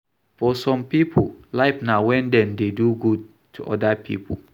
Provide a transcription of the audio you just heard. For some pipo, life na when dem dey do good to oda pipo